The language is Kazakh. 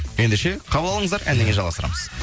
ендеше қабыл алыңыздар әннен кейін жалғастырамыз